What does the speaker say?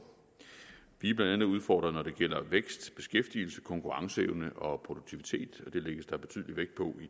vi er blandt andet udfordret når det gælder vækst beskæftigelse konkurrenceevne og produktivitet og det lægges der betydelig vægt på